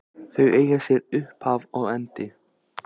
Þau eiga sér upphaf og endi.